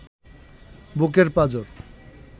বুকের পাঁজর